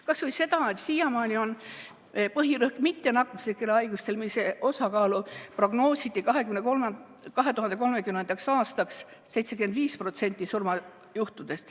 Kas või see, et siiamaani on põhirõhk olnud mittenakkuslikel haigustel, mille osakaaluks surmajuhtudest prognoositi 2030. aastaks 75%.